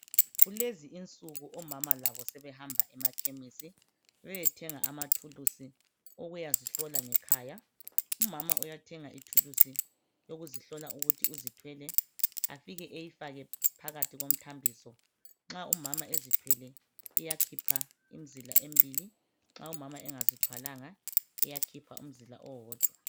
Kulezi insuku omama labo sebehamba emakhemisi beyethenga amathulisi okuyazihlola ngekhaya, umama uyathenga ithulisi yokuzihlola ukuthi uzithwele afike ayifake phakathi komthambiso, nxa umama ezithwele iyakhipha imizila emibili, nxa umama engezithwalanga iyakhipha umzila owodwa.